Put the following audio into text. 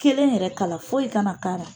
Kelen yɛrɛ kala foyi kana kaala